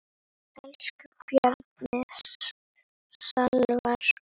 Elsku Bjarni Salvar.